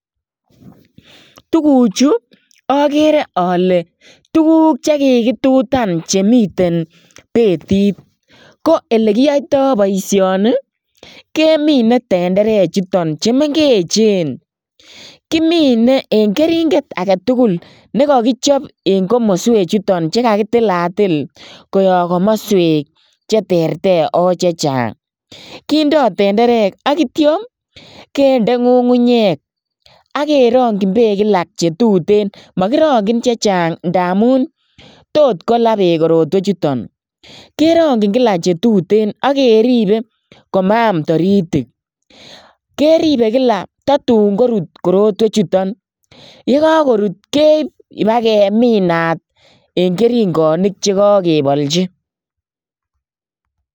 Tukuchu akere ale tukuk che kikitutan chemiten betit, ko elekiyoitoi boisioni, kemine tenderechuton chemengechen, kimine eng keringet ake tugul ne kakichop eng komoswechuton che kakitilatil koyop komoswek cheterter ako che chang, kindoi tenderek ak ityo kende ngungunyek, akerongchin peek kila che tuten makirongchin chechang ndamun tot kola peek korotwechuton, kerongchin kila che tuten akeribe komaam taritik, keribe kila tatun korut korotwechuton, ye kakorut keip ibakeminat eng keringonik che kakebolchi.